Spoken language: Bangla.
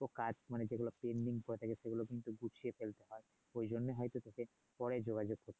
কাজ মানে যেগুলো করা থাকে সেগুলো গুছিয়ে ফেলতে হয় ওই জন্য হয়তো দুই-একদিন পরে যোগযোগ করছে